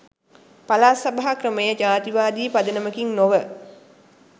පළාත් සභා ක්‍රමය ජාතිවාදී පදනමකින් නොව